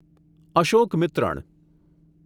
Ashokamitran